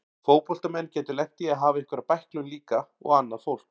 Fótboltamenn geta lent í að hafa einhverja bæklun líka og annað fólk.